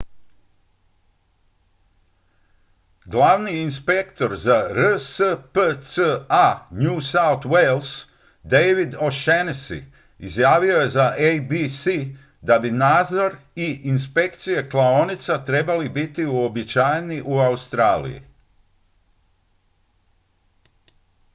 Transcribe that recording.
glavni inspektor za rspca new south wales david o'shannessy izjavio je za abc da bi nadzor i inspekcije klaonica trebali biti uobičajeni u australiji